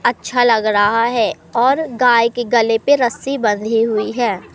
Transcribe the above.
अच्छा लग रहा है और गाय के गले पे रस्सी बंधी हुई है।